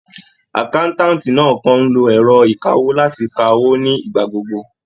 Àkáńtáǹtì náà kan ń lo ẹ̀rọ ìkawó láti ka owó ní ìgbà gbogbo